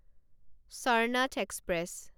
Sarnath express